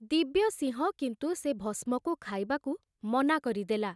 ଦିବ୍ୟସିଂହ କିନ୍ତୁ ସେ ଭସ୍ମକୁ ଖାଇବାକୁ ମନା କରିଦେଲା।